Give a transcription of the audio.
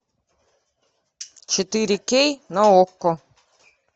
четыре кей на окко